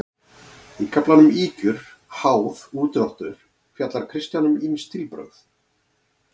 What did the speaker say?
Í kaflanum Ýkjur, háð, úrdráttur fjallar Kristján um ýmis stílbrögð.